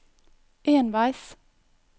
enveis